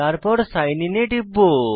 তারপর sign in এ টিপব